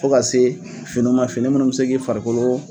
Fo ka se fini ma, fini minnu bɛ se k'i farikolo